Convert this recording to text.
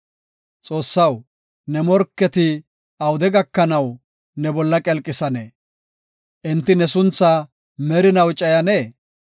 Xoossaw, ne morketi awude gakanaw, ne bolla qelqisanee? Enti ne sunthaa merinaw cayanee?